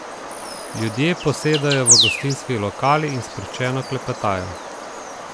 Ljudje posedajo v gostinskih lokalih in sproščeno klepetajo.